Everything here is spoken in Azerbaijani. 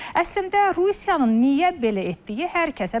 Əslində Rusiyanın niyə belə etdiyi hər kəsə bəllidir.